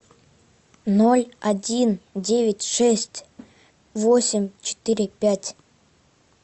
ноль один девять шесть восемь четыре пять